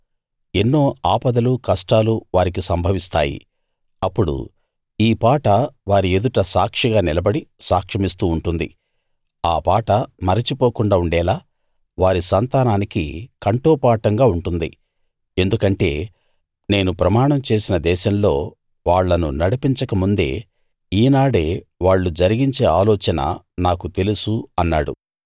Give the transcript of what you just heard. ఎన్నో ఆపదలూ కష్టాలూ వారికి సంభవిస్తాయి అప్పుడు ఈ పాట వారి ఎదుట సాక్షిగా నిలబడి సాక్ష్యమిస్తూ ఉంటుంది ఆ పాట మరచిపోకుండా ఉండేలా వారి సంతానానికి కంఠోపాఠంగా ఉంటుంది ఎందుకంటే నేను ప్రమాణం చేసిన దేశంలో వాళ్ళను నడిపించక ముందే ఈనాడే వాళ్ళు జరిగించే ఆలోచన నాకు తెలుసు అన్నాడు